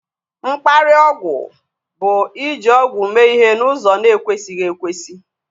Mkparịa ọgwụ bu iji ọgwụ mee ihe n'ụzọ na ekwesighi ekwesị